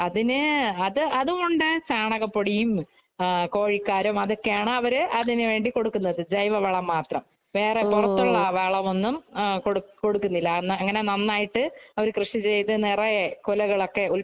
അതിനു അതും ഒണ്ട്. ചാണകപൊടിയും, കോഴിക്കാരവും അതൊക്കെയാണ്‌ അവര് അതിനു വേണ്ടി കൊടുക്കുന്നത്.ജൈവവളം മാത്രം. വേറെ പൊറത്തുള്ള വളമൊന്നും കൊടുക്കുന്നില്ല. അങ്ങനെ നന്നായിട്ട് അവര് കൃഷി ചെയ്തു നെറയെ കൊലകളൊക്കെ